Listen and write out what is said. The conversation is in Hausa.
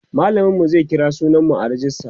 mallamin mu zai kira sunan mu a rejista